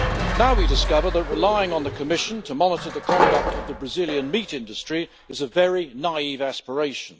Now we discover that relying on the Commission to monitor the conduct of the Brazilian meat industry is a very naive aspiration.